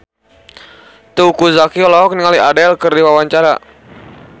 Teuku Zacky olohok ningali Adele keur diwawancara